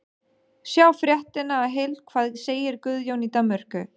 Sjá fréttina í heild: Hvað segir Guðjón í Danmörku?